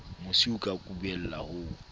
mosi o ka kubellang ho